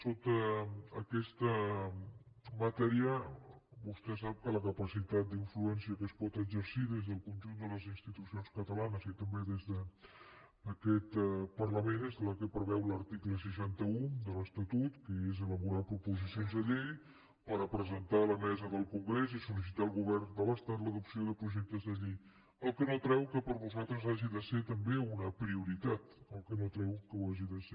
sota aquesta matèria vostè sap que la capacitat d’influència que es pot exercir des del conjunt de les institucions catalanes i també des d’aquest parlament és la que preveu l’article seixanta un de l’estatut que és elaborar proposicions de llei per a presentar a la mesa del congrés i solvern de l’estat l’adopció de projectes de llei que no treu que per a nosaltres hagi de ser també una prioritat que no treu que ho hagi de ser